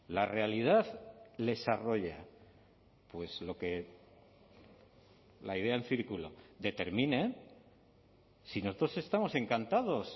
la realidad les arrolla pues lo que la idea en círculo determine si nosotros estamos encantados